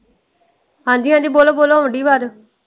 ਹਾਂਜੀ ਹਾਂਜੀ ਬੋਲੋ ਬੋਲੋ ਆਉਣ ਡਈ ਆਵਾਜ਼।